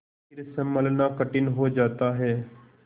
फिर सँभलना कठिन हो जाता है